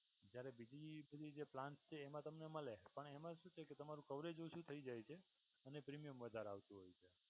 જ્યારે બીજી બધી જે plans છે એમા તમને મળે પણ એમા શું છે કે તમારું coverage ઓછું થઈ જાય છે. અને premium વધારે આવતું હોય.